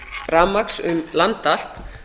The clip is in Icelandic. rafmagns um land allt